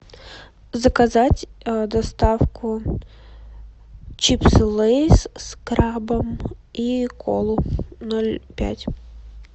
заказать доставку чипсы лейс с крабом и колу ноль пять